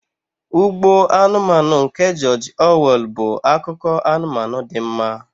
Ugbo Anụmanụ nke George Orwell bụ akụkọ anụmanụ dị mma.